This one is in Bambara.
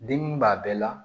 Dimi b'a bɛɛ la